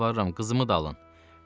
Yalvarıram, qızımı da alın.